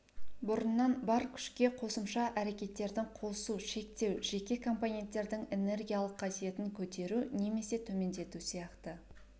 бұрыннан бар күшке қосымша әрекеттердің қосу шектеу жеке компоненттердің энергиялық қасиетін көтеру немесе төмендету сияқты